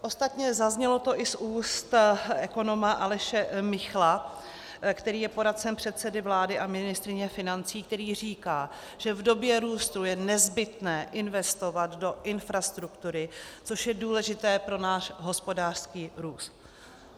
Ostatně zaznělo to i z úst ekonoma Aleše Michla, který je poradcem předsedy vlády a ministryně financí, který říká, že v době růstu je nezbytné investovat do infrastruktury, což je důležité pro náš hospodářský růst.